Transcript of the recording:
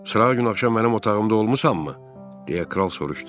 Sırağa gün axşam mənim otağımda olmusanmı, deyə Kral soruşdu.